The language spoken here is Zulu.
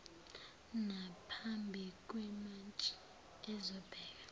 naphambi kwemantshi ezobheka